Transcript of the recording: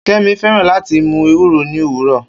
Kemi fẹràn lati mu Ewuro ni owurọ